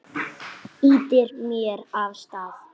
Ýtir mér af stað.